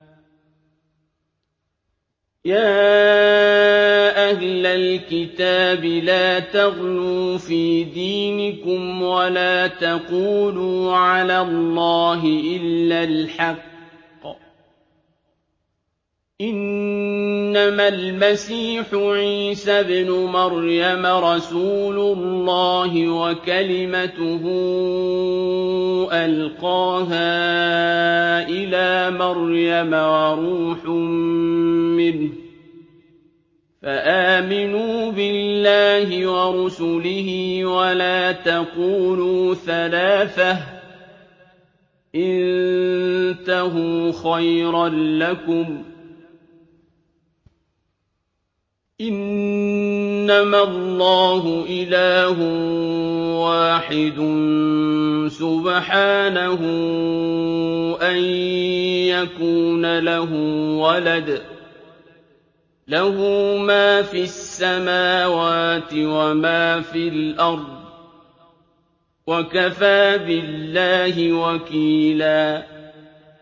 يَا أَهْلَ الْكِتَابِ لَا تَغْلُوا فِي دِينِكُمْ وَلَا تَقُولُوا عَلَى اللَّهِ إِلَّا الْحَقَّ ۚ إِنَّمَا الْمَسِيحُ عِيسَى ابْنُ مَرْيَمَ رَسُولُ اللَّهِ وَكَلِمَتُهُ أَلْقَاهَا إِلَىٰ مَرْيَمَ وَرُوحٌ مِّنْهُ ۖ فَآمِنُوا بِاللَّهِ وَرُسُلِهِ ۖ وَلَا تَقُولُوا ثَلَاثَةٌ ۚ انتَهُوا خَيْرًا لَّكُمْ ۚ إِنَّمَا اللَّهُ إِلَٰهٌ وَاحِدٌ ۖ سُبْحَانَهُ أَن يَكُونَ لَهُ وَلَدٌ ۘ لَّهُ مَا فِي السَّمَاوَاتِ وَمَا فِي الْأَرْضِ ۗ وَكَفَىٰ بِاللَّهِ وَكِيلًا